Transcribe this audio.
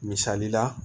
Misali la